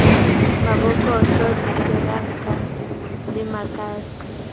mabokose diteranka le makase a